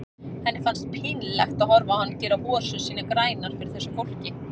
Henni fannst pínlegt að horfa á hann gera hosur sínar grænar fyrir þessu fólki.